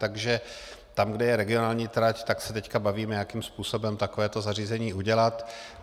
Takže tam, kde je regionální trať, tak se teď bavíme, jakým způsobem takovéto zařízení udělat.